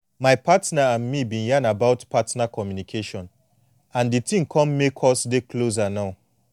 my partner and me been yan about partner communication and the thing come make us dey closer now